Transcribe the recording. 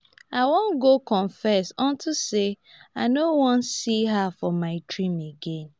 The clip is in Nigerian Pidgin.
i wan go confess unto say i no wan see her for my dream again